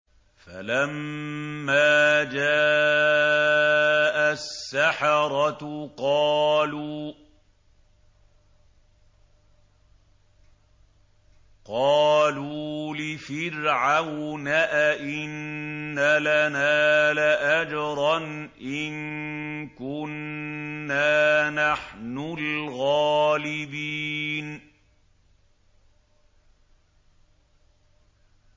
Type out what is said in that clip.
فَلَمَّا جَاءَ السَّحَرَةُ قَالُوا لِفِرْعَوْنَ أَئِنَّ لَنَا لَأَجْرًا إِن كُنَّا نَحْنُ الْغَالِبِينَ